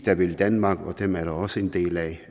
der vil danmark og dem er der også en del af